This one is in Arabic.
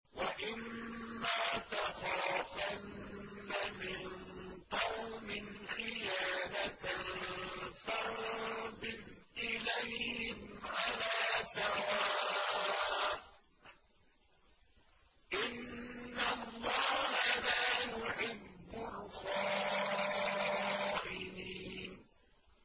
وَإِمَّا تَخَافَنَّ مِن قَوْمٍ خِيَانَةً فَانبِذْ إِلَيْهِمْ عَلَىٰ سَوَاءٍ ۚ إِنَّ اللَّهَ لَا يُحِبُّ الْخَائِنِينَ